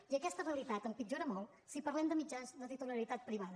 i aquesta realitat empitjora molt si parlem de mitjans de titularitat privada